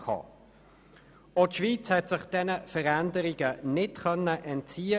Auch die Schweiz konnte sich diesen Veränderungen nicht entziehen.